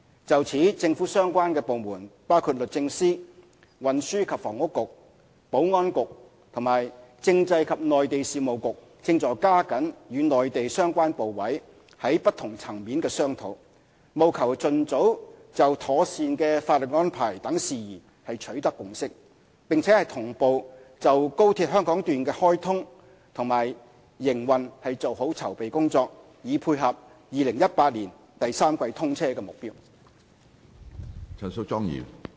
就此，政府相關部門包括律政司、運輸及房屋局、保安局和政制及內地事務局正在加緊與內地相關部委在不同層面的商討，務求盡早就妥善的法律安排等事宜取得共識，並同步就高鐵香港段的開通和營運做好籌備工作，以配合2018年第三季通車的目標。